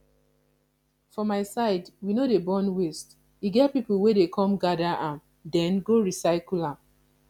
for my side we no dey burn waste e get people wey dey come gather am den go recycle am